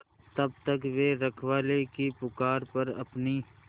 तब तक वे रखवाले की पुकार पर अपनी